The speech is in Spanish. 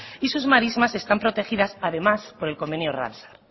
y sus marismas están protegidas además por el convenio ramsar